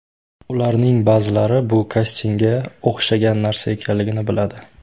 Ularning ba’zilari bu kastingga o‘xshagan narsa ekanligini biladi.